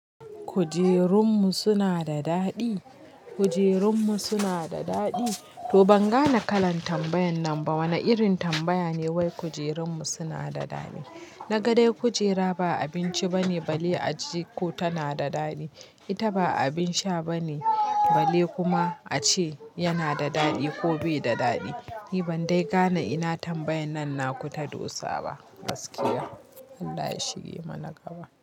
Kujerunmu suna da daɗi? Kujerunmu suna da daɗi? To ban gane kalan tambayan nan ba. Wane irin tambaya ne wai kujerunmu suna da daɗi? Na ga dai kujera ba abinci bane bale ace ko tana da daɗi. Ita ba abin sha bane bale kuma ace yana da daɗi ko bai da daɗi. Ni ban dai gane ina tambayan nan na kuta dosa ba. Gaskiya. Allah ya shige mana gaba.